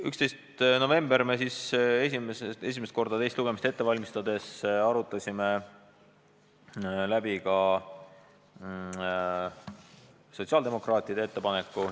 11. novembril teist lugemist ette valmistades arutasime esimest korda läbi ka sotsiaaldemokraatide ettepaneku.